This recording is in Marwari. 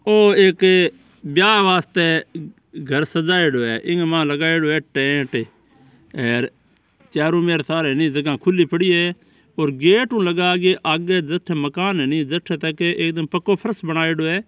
ओ एक ब्याव वास्ते घर सजायडयो है ईक मायने लगायेडो है टेंट हेर चारो मेर सारे ज़गह खुली पड़ी है पर गेट उ लगा के आगे जटे मकान है जटे तक एकदम पक्को फर्श बनाएडओ है।